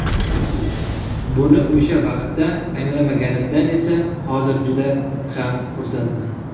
Buni o‘sha vaqtda anglamaganimdan esa hozir juda ham xursandman.